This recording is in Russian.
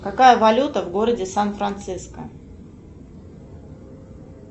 какая валюта в городе сан франциско